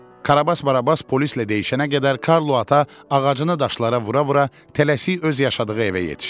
Karabas Barabas polislə deyişənə qədər Karlo ata ağacını daşlara vura-vura tələsik öz yaşadığı evə yetişdi.